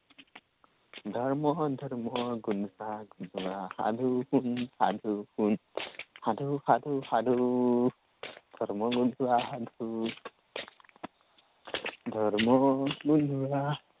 ধৰ্ম ধৰ্ম গোন্ধোৱা সাধু সাধু সাধু সাধু শুন সাধু শুন। সাধু সাধু সাধু ধৰ্ম গোন্ধোৱা সাধু। ধৰ্ম গোন্ধোৱা